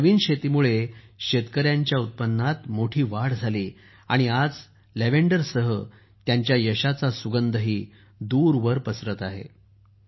या नवीन शेतीमुळे शेतकऱ्यांच्या उत्पन्नात मोठी वाढ केली आहे आणि आज लॅव्हेंडरसह त्यांच्या यशाचा सुगंधही दूरवर पसरत आहे